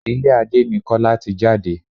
Ilé Adé ni Kọ́lá ti jáde.